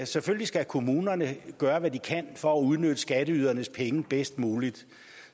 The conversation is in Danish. selvfølgelig skal kommunerne gøre hvad de kan for at udnytte skatteydernes penge bedst muligt